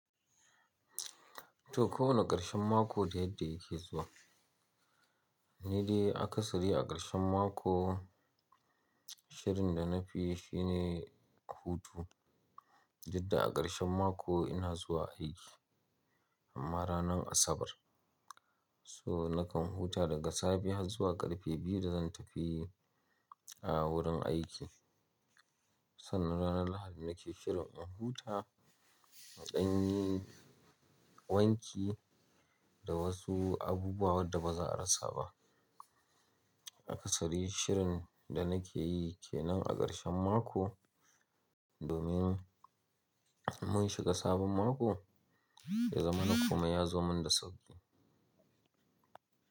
To, kowane ƙarshen mako da yadda yake zuwa. Ni dai aka sari a ƙarshen mako, shirin da na fiyi shi ne hutu. Jadda a ƙarshen mako ina zuwa aiki amma ranar Asabar. So nakan huta daga safe har zuwa ƙarfe biyu da zan tafi a wurin aiki. Sannan ranar Lahadi nake shirin in huta, in ɗanyi wanki da wasu abubuwan wadda baza a rasa ba. Aka sari shirin da nake yi ke nan a ƙarshen mako domin mun shiga sabon mako ya zamana komai ya zo mun da sauƙi.